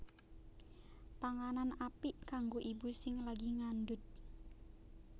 Panganan apik kanggo ibu sing lagi ngandhut